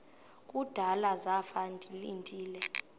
kudala zafa ndilinde